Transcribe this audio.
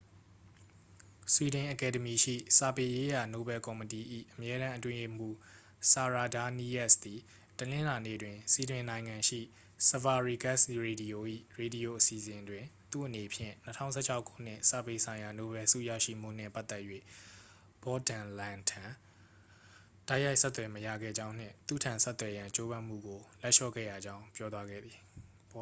ဆွီဒင်အကယ်ဒမီရှိ စာပေရေးရာ နိုဗယ်ကော်မတီ၏ အမြဲတမ်း အတွင်းရေးမှူး ဆာရာဒါးနီးယပ်စ်သည် တနင်္လာနေ့တွင် ဆွီဒင်နိုင်ငံရှိ ဆဗာရီဂက်စ် ရေဒီယို၏ ရေဒီယို အစီအစဉ်တွင် သူ့အနေဖြင့် 2016 ခုနှစ် စာပေဆိုင်ရာ နိုဗယ်ဆုရရှိမှုနှင့် ပတ်သက်၍ ဘော့ဒိုင်လန်ထံ တိုက်ရိုက် ဆက်သွယ် မရခဲ့ကြောင်းနှင့် သူ့ထံ ဆက်သွယ်ရန် ကြိုးပမ်းမှုကို လက်လျှော့ခဲ့ရကြောင်း ပြောသွားခဲ့သည်